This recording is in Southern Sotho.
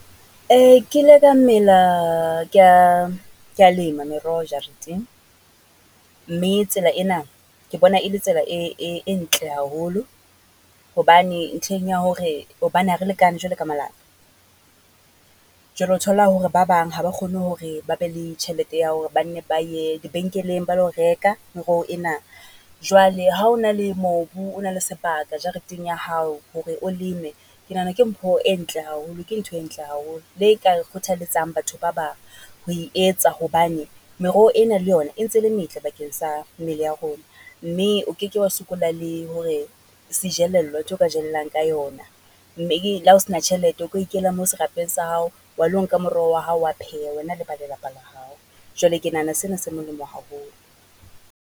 Ke ile ka mela ke ya, ke ya lema meroho jareteng, mme tsela ena ke bona e le tsela e ntle haholo hobane ntlheng ya hore, hobane ha re lekane jwalo ka molapa. Jwale ho thola hore ba bang ha ba kgone hore ba be le tjhelete ya hore ba nne ba ye lebenkeleng ba lo reka moroho ena. Jwale ha o na le mobu, o na le sebaka jareteng ya hao hore o leme, ke nahana ke mpho e ntle haholo, ke ntho e ntle haholo. Le ka e kgothaletsang batho ba bang ho e etsa hobane meroho ena le yona e ntse e metle bakeng sa mmele ya rona. Mme o keke wa sokola le hore sejelello, ntho ka jelellang ka yona, mme le ha o sena tjhelete o ka ikela mo serapeng sa hao, wa lo nka moroho wa hao wa pheha, wena le ba lelapa la hao. Jwale ke nahana se na se molemo haholo.